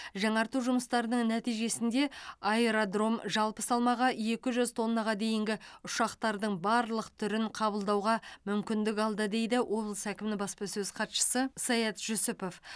жаңарту жұмыстарының нәтижесінде аэродром жалпы салмағы екі жүз тоннаға дейінгі ұшақтардың барлық түрін қабылдауға мүмкіндік алды дейді облыс әкімінің баспасөз хатшысы саят жүсіпов